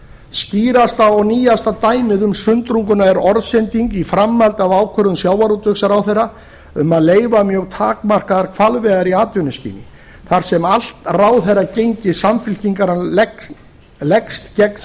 skýrasta og nýjasta dæmið um sundrunguna er orðsending í framhaldi af ákvörðun sjávarútvegsráðherra um að leyfa mjög takmarkaðar hvalveiðar í atvinnuskyni þar sem allt ráðherragengi samfylkingarinnar leggst gegn